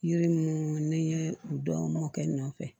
Yiri minnu ni n ye u dɔɔnin dɔw kɛ n nɔfɛ